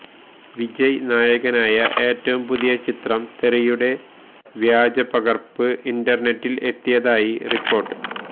വിജയ് നായകനായ ഏറ്റവും പുതിയ ചിത്രം തെറിയുടെ വ്യാജ പകര്പ്പ് ഇന്റര്നെറ്റില് എത്തിയതായി റിപ്പോര്ട്ട്